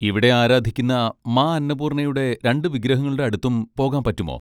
ഇവിടെ ആരാധിക്കുന്ന മാ അന്നപൂർണയുടെ രണ്ട് വിഗ്രഹങ്ങളുടെ അടുത്തും പോകാൻ പറ്റുമോ?